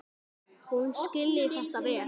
Hún skilji þetta vel.